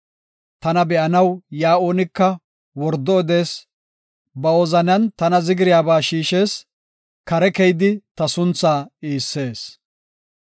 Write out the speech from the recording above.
Tana be7anaw yaa oonika wordo odees; ba wozanan tana zigiriyabaa shiishees; kare keyidi ta sunthaa iissees.